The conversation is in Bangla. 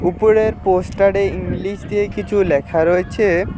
উপরের পোস্টারে ইংলিশ দিয়ে কিছু লেখা রয়েছে।